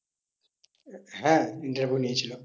হ্যাঁ interview নিয়েছিল।